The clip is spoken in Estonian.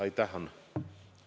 Aitäh, Hanno!